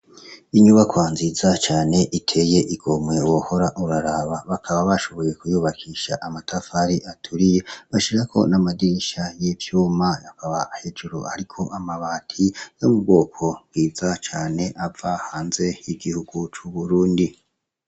Inyubakwa nziza cane iteye igomwe wohora uraraba bakaba bashoboye kuyubakisha amatafari aturiye. Bashirako namadirisha y'ivyuma hakaba hejuru hariko amabati yo mu bwoko bwiza cane ava hanze yigihugu cu Burundi.